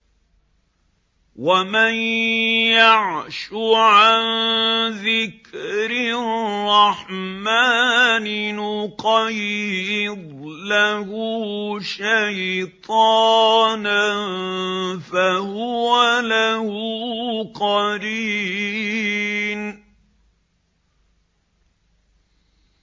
وَمَن يَعْشُ عَن ذِكْرِ الرَّحْمَٰنِ نُقَيِّضْ لَهُ شَيْطَانًا فَهُوَ لَهُ قَرِينٌ